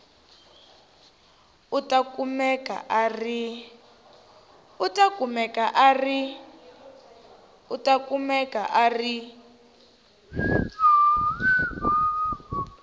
u ta kumeka a ri